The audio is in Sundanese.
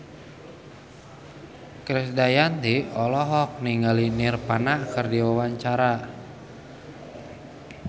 Krisdayanti olohok ningali Nirvana keur diwawancara